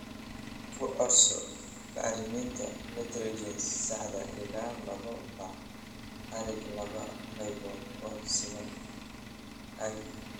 Ku codso bacriminta Nitrogenous sadax ila labo bac/acre laba qaybood oo siman, ie.